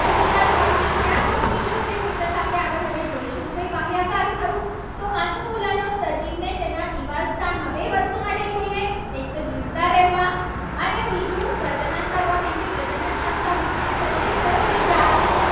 મિત્રો હવે આગળ આપણે જોઇશું. એ રહ્યા કાર થયું. તો અનુકૂલનો સજીવને તેના નિવાસ્થાનમાં બે વસ્તુ માટે જોઈએ. એક તો જીવતા રહેવા. અને બીજું પ્રજનન કરવા કેમકે પ્રજનન ક્ષમતા વિકસિત થશે. તો જ જાતિનું